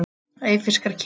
Eyfirskar kýr.